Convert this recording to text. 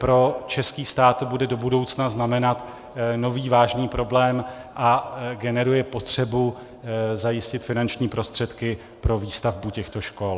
Pro český stát to bude do budoucna znamenat nový vážný problém a generuje potřebu zajistit finanční prostředky pro výstavbu těchto škol.